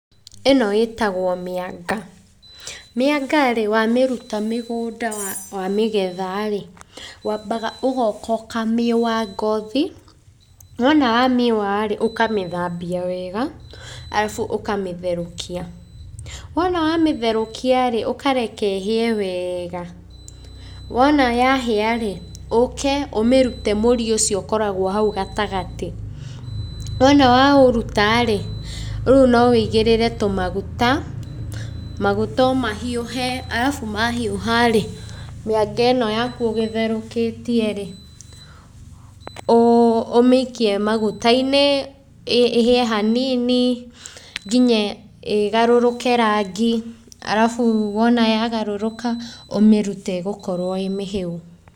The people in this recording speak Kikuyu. Ĩno ĩtagwo mĩanga. Mĩanga rĩ wamĩruta mĩgũnda wamĩgetha rĩ, wambaga ũgoka ũkamĩũa ngothi, wona wamĩũa rĩ, ũkamĩthambia wega arabu ũkamĩtherũkia. Wona wamĩtherũkia rĩ, ũkareke ĩhĩe wega, wona yahĩa rĩ, ũke ũmĩrute mũri ũcio ũkoragwo hau gatagatĩ, wona waũruta rĩ, rĩu no ũigĩrĩre tũmaguta, maguta o mahiũhe arabu mahiũha rĩ, mĩanga ĩno yaku ũgũtherũkĩtie rĩ, ũmĩikie maguta-inĩ ĩhĩe hanini nginya ĩgarũrũke rangi arabu wona yagarũrũka ũmĩrute ĩgũkorwo ĩ mĩhĩu.